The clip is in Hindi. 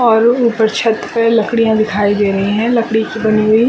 और ऊपर छत पे लकड़ियाँ दिखाई दे रही है लकड़ी की बनी हुई --